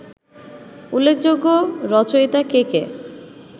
উল্লেখযোগ্য রচিয়তা কে কে